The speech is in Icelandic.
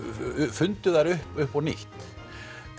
fundu þær upp upp á nýtt